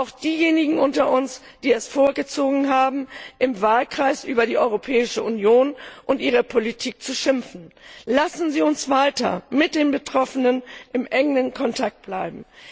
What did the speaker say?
Auch diejenigen unter uns, die es vorgezogen haben, im Wahlkreis über die EU und ihre Politik zu schimpfen. Lassen Sie uns weiter mit den Betroffenen in engem Kontakt bleiben.